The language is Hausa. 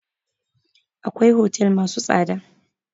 Akwai otel masu tsada